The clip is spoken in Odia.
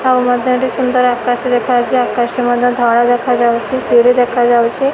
ଆଉ ମଧ୍ୟ ଏଠି ସୁନ୍ଦର ଆକାଶ ଦେଖାଯାଉଛି। ଆକାଶଟି ମଧ୍ୟ ଧଳା ଦେଖାଯାଉଛି। ସିଡ଼ି ଦେଖାଯାଉଛି।